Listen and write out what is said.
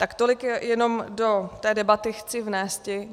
Tak tolik jenom do té debaty chci vnésti.